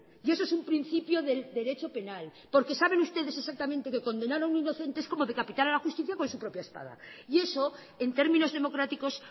y eso es un principio del derecho penal porque saben ustedes exactamente que condenar a un inocente es como decapitar a la justicia con su propia espada y eso en términos democráticos